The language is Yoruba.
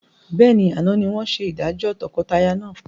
Bẹ́ẹ̀ni, àná ni wọn ṣe ìdájọ́ tọkọtaya náà.